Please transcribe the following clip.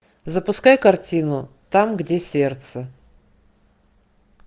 запускай картину там где сердце